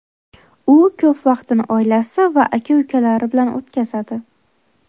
U ko‘p vaqtini oilasi va aka-ukalari bilan o‘tkazadi.